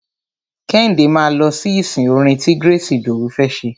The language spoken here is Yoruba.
Kẹ́hìndé máa lọ sí ìsìn orin ti Grace Idowu fẹ́ ṣe.